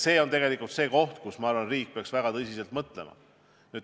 See on see koht, kus, ma arvan, riik peaks väga tõsiselt mõtlema.